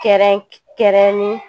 Kɛrɛnkɛrɛnni